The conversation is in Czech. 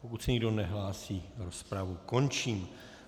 Pokud se nikdo nehlásí, rozpravu končím.